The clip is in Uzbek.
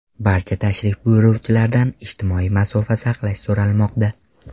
Barcha tashrif buyuruvchilardan ijtimoiy masofa saqlash so‘ralmoqda.